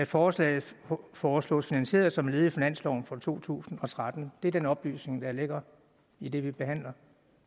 forslaget foreslås finansieret som led i finansloven for to tusind og tretten det er den oplysning der ligger i det vi behandler